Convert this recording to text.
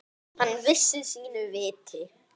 Hann vissi sínu viti.